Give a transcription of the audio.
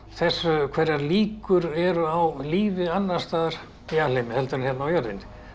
hvaða líkur eru á lífi annars staðar í alheiminum heldur en hérna á jörðinni